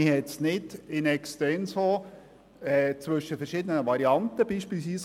Es konnte nicht zwischen verschiedenen Varianten abgewogen werden.